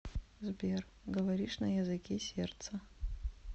сбер говоришь на языке сердца